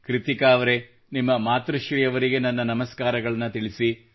ಕೃತ್ತಿಕಾ ಅವರೆ ನಿಮ್ಮ ಮಾತೃಶ್ರೀ ಅವರಿಗೆ ನನ್ನ ನಮಸ್ಕಾರಗಳನ್ನು ತಿಳಿಸಿ